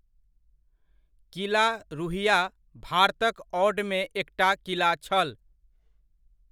किला रुह्या, भारतक औडमे एकटा किला छल।